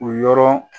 O yɔrɔ